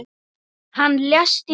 Hann lést í Róm.